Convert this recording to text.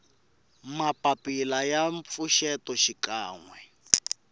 mapapila ya mpfuxeto xikan we